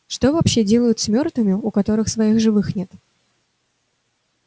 что вообще делают с мёртвыми у которых своих живых нет